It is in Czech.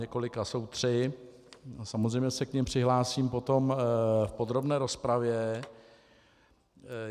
Několika - jsou tři a samozřejmě se k nim přihlásím potom v podrobné rozpravě.